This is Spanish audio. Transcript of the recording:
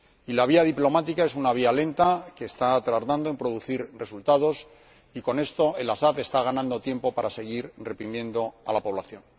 La vía diplomática es una vía lenta que está tardando en producir resultados y con ello El Asad está ganando tiempo para seguir reprimiendo a la población.